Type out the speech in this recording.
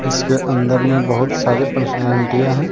उसके अंदर में बहोत सारी पर्सनालिटी है।